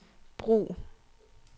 brug